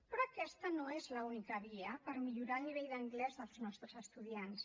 però aquesta no és l’única via per millorar el nivell d’anglès dels nostres estudiants